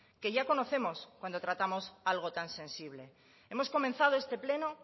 que ya conocemos cuando tratamos algo tan sensible hemos comenzado este pleno